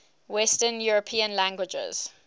western european languages